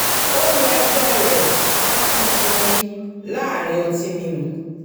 ó rọ e̩gbé̩ rẹ̀ láti sinmi láàárín ọtí mímu